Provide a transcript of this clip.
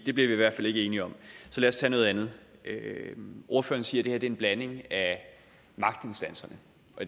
det bliver vi i hvert fald ikke enige om så lad os tage noget andet ordføreren siger at det en blanding af magtinstanserne